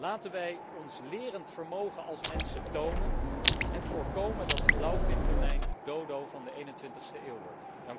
Laten wij ons lerend vermogen als mensen tonen en voorkomen dat de blauwvintonijn de dodo van de 21ste eeuw wordt.